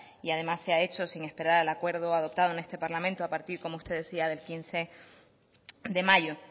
y además se ha hecho sin esperar al acuerdo adoptado en este parlamento a partir como usted decía del quince de mayo